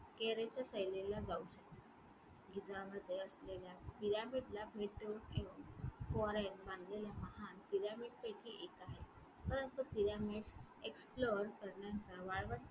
कैरोच्या सहलीला जाऊ शकता. गिझामध्ये असलेल्या pyramid ला भेट देऊन मानलेल्या महान pyramid पैकी एक आहे परंतु pyramid explore करण्याचा वाळवंट